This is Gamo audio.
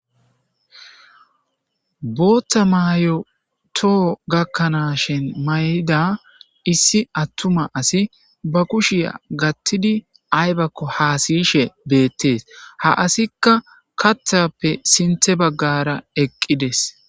Booththa mayo too gakkanaashin mayida issi attuma asi ba kushiya gattidi aybakko haasiyishe beettees ha asikka kathappe sinthe baggara eqqides.